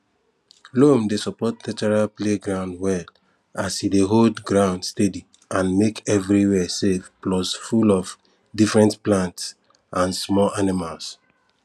loam dey support natural playground well as e dey hold ground steady and make everywhere safe plus full of different plants and small animals